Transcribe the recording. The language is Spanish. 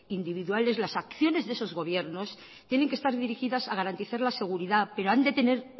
individuales las acciones de esos gobiernos tienen que estar dirigidas a garantizar la seguridad pero han de tener